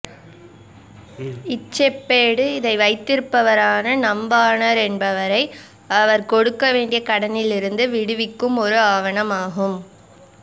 இச் செப்பேடு இதை வைத்திருப்பவரான நம்வாரன் என்பவரை அவர் கொடுக்கவேண்டிய கடனிலிருந்து விடுவிக்கும் ஒரு ஆவணம் ஆகும்